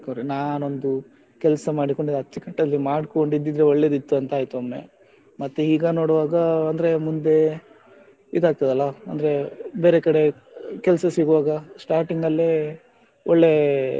ನಾನೊಂದು ಕೆಲಸ ಮಾಡಿಕೊಂಡು ಅಚ್ಚುಕಟ್ಟಲ್ಲಿ ಮಾಡ್ಕೊಂಡು ಇದ್ದಿದ್ರೆ ಒಳ್ಳೆದಿತ್ತು ಅಂತ ಆಯ್ತು ಒಮ್ಮೆ ಮತ್ತೆ ಈಗ ನೋಡ್ವಾಗ ಅಂದ್ರೆ ಮುಂದೆ ಇದಾಗ್ತದಲ್ಲಾ ಅಂದ್ರೆ ಬೇರೆ ಕಡೆ ಕೆಲ್ಸ ಸಿಗ್ವಾಗ starting ಅಲ್ಲೆ ಒಳ್ಳೆ,